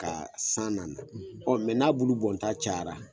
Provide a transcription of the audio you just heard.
Ka san nan na ɔ mɛ n'a bulu bɔnta cayara